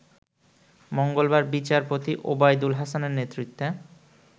মঙ্গলবার বিচারপতি ওবায়দুল হাসানের নেতৃত্বে